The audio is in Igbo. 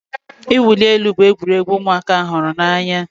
Ị wuli elu bụ egwuregwu ụmụaka hụrụ n'anya